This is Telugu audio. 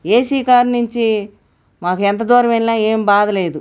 ఏ_సీ కార్ నుంచి మాకు ఎంత దూరం వెళ్లినా ఏం బాధ లేదు.